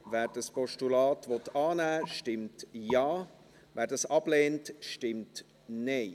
Wer dieses Postulat annehmen will, stimmt Ja, wer das ablehnt, stimmt Nein.